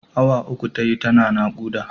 Awa uku tayi tana naƙuda.